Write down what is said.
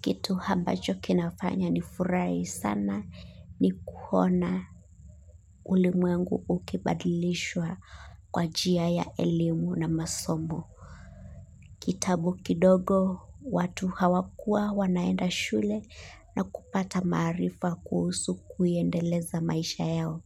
Kitu ambacho kinafanya nifurahi sana ni kuona ulimwengu ukibadilishwa kwa njia ya elimu na masomo. Kitambo kidogo watu hawakuwa wanaenda shule na kupata maarifa kuhusu kuiendeleza maisha yao.